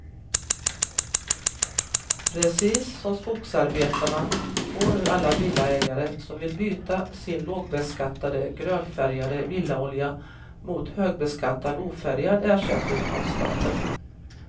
Precis som skogsarbetarna får nu alla villaägare som vill det byta sin lågbeskattade grönfärgade villaolja mot högbeskattad ofärgad ersättning av staten.